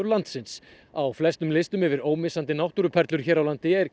landsins á flestum listum yfir ómissandi náttúruperlur hér á landi er